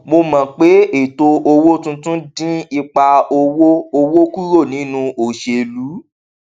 mo mọ pé ètò owó tuntun dín ipa owó owó kúrò nínú òṣèlú